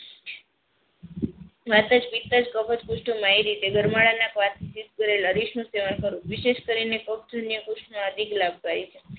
ગરમાળાના વિશેષ કરીને પગ સૂન્ય પુસ્થ ને અધિક લાભકારી છે.